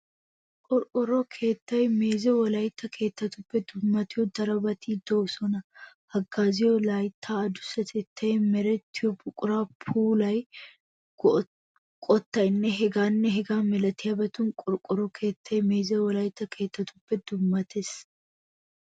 Qorqqoro keettaa meeze Wolaytta keettaappe dummayiya darobati de"oosona. Haggaaziyo layttaa adussatettan, merettiyo buquran, puulan, qottaninne hegaanne hegaa milatiyabatun qorqqoro keettay meeze Wolaytta keettaappe dummattees.